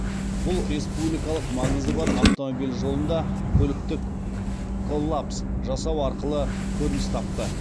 бұл республикалық маңызы бар автомобиль жолында көліктік коллапс жасау арқылы көрініс тапты